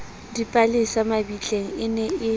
dipalesa mabitleng e ne e